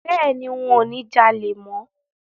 Bẹ́ẹ̀ni, ń ò ní jalè mọ